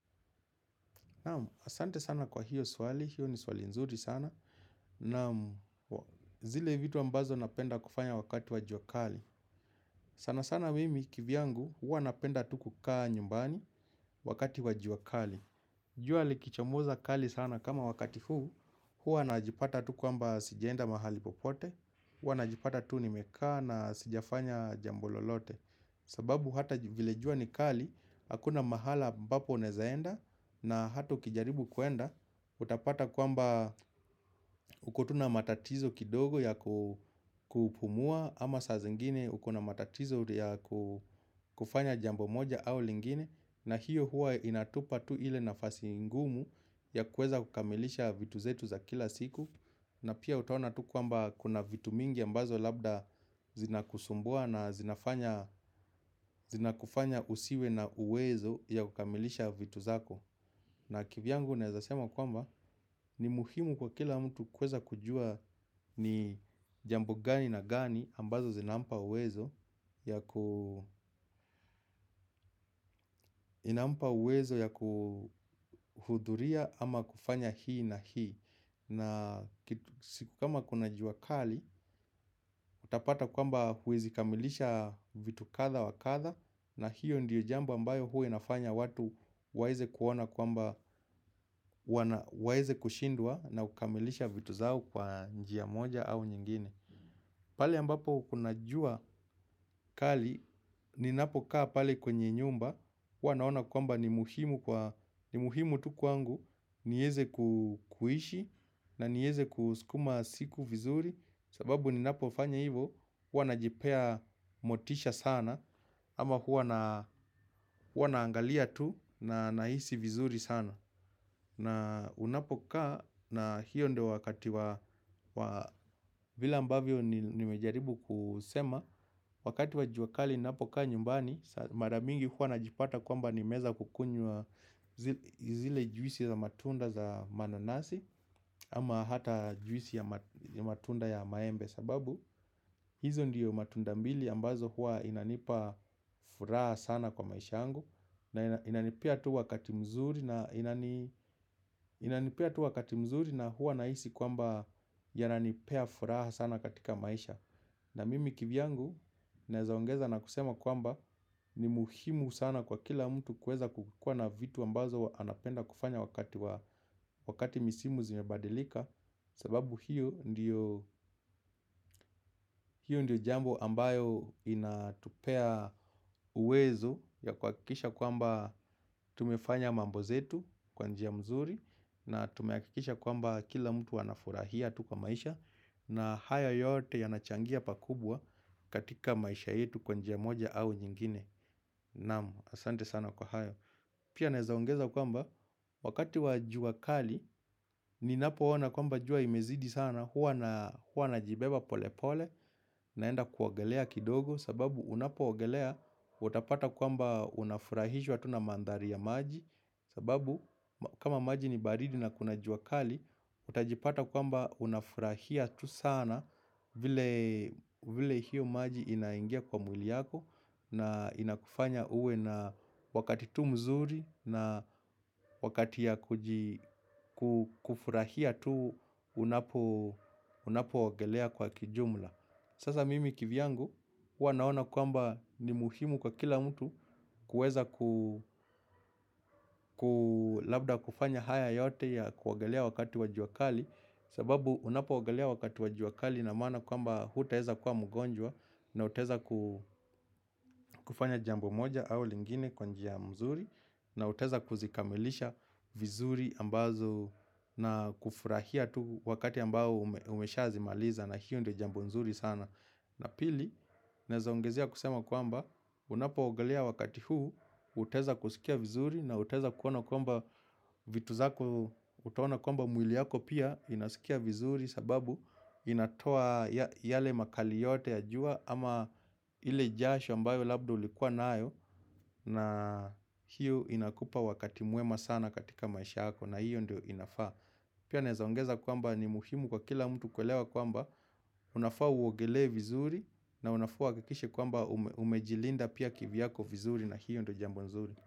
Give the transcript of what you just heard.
Naam, asante sana kwa hiyo swali, hiyo ni swali nzuri sana, naam kwa zile vitu ambazo napenda kufanya wakati wa jua kali sana sana mimi kivyangu huwa napenda tu kukaa nyumbani wakati wa jua kali. Jua likichomoza kali sana kama wakati huu. Huwa najipata tu kwamba sijaenda mahali popote. Huwa najipata tu nimekaa na sijafanya jambo lolote. Sababu hata vile jua ni kali, hakuna mahala ambapo unaezaenda na hata ukijaribu kwenda, utapata kwamba uko tu na matatizo kidogo ya kupumua ama saa zingine uko na matatizo ya kufanya jambo moja au lingine na hiyo huwa inatupa tu ile nafasi ngumu ya kuweza kukamilisha vitu zetu za kila siku na pia utaona tu kwamba kuna vitu mingi ambazo labda zinakusumbua na zinafanya zinakufanya usiwe na uwezo ya kukamilisha vitu zako na kivyangu naezasema kwamba ni muhimu kwa kila mtu kuweza kujua ni jambo gani na gani ambazo zinampa uwezo uwezo ya kuhudhuria ama kufanya hii na hii. Na kama kuna jua kali, utapata kwamba huwezi kamilisha vitu kadha wa kadha na hiyo ndiyo jambo ambayo huwa inafanya watu waeze kuona waeze kushindwa na ukamilisha vitu zao kwa njia moja au nyingine. Pale ambapo kuna jua kali, ninapokaa pale kwenye nyumba, huwa naona kwamba ni muhimu kwa, ni muhimu tu kwangu, nieze kuishi na nieze kusukuma siku vizuri, sababu ninapofanya hivo huwa najipea motisha sana, ama huwa na naangalia tu na nahisi vizuri sana. Na unapokaa na hiyo ndo wakati wa vile ambavyo nimejaribu kusema wakati wa jua kali ninapokaa nyumbani mara nyingi huwa najipata nimeweza kukunywa zile juisi za matunda za mananasi. Ama hata juisi ya matunda ya maembe sababu hizo ndiyo matunda mbili ambazo huwa inanipa furaha sana kwa maisha yangu na inanipea tu wakati mzuri na huwa nahisi kwamba yananipea furaha sana katika maisha na mimi kivyangu naweza ongeza na kusema kwamba ni muhimu sana kwa kila mtu kueza kukukua na vitu ambazo anapenda kufanya wakati wa misimu zimabadilika sababu hiyo ndiyo hiyo ndiyo jambo ambayo inatupea uwezo ya kuhakisha kwamba tumefanya mambo zetu kwanjia nzuri na tumehakikisha kwamba kila mtu wanafurahia tu kwa maisha na haya yote yanachangia pakubwa katika maisha yetu kwa njia moja au nyingine naam, asante sana kwa haya pia naeza ongeza kwamba wakati wa jua kali ninapoona kwamba jua imezidi sana huwa najibeba pole pole naenda kuogelea kidogo sababu unapoogelea utapata kwamba unafurahishwa tu na mandhari ya maji sababu kama maji ni baridi na kuna jua kali utajipata kwamba unafurahia sana vile vile hiyo maji inaingia kwa mwili yako na inakufanya uwe na wakati tu mzuri na wakati ya kufurahia tu unapoogelea kwa kijumla sasa mimi kivyangu huwa naona kwamba ni muhimu kwa kila mtu kuweza labda kufanya haya yote ya kuogelea wakati wa jua kali sababu unapoogelea wakati wa jua kali inamaana kwamba hutaeza kuwa mgonjwa na utaeza kufanya jambo moja au lingine kwa njia nzuri na utaeza kuzikamilisha vizuri ambazo na kufurahia tu wakati ambao ushazimaliza na hiyo ndo jambo nzuri sana. Na pili, naeza ongeza kusema kwamba, unapoogelea wakati huu, utaeza kusikia vizuri na utaeza kuona kwamba vitu zako utaona kwamba mwili yako pia, inasikia vizuri sababu inatoa yale makali yote ya jua ama ile jasho ambayo labda ulikua nayo na hiyo inakupa wakati mwema sana katika maisha hayo na hiyo ndio inafaa pia naeza ongeza kwamba ni muhimu kwa kila mtu kuelewa kwamba unafaa uogelee vizuri na unafaa uhakikishe kwamba umejilinda pia kivyako vizuri na hiyo ndio jambo nzuri.